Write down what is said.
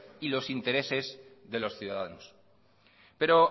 y los intereses de los ciudadanos pero